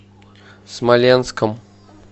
смоленском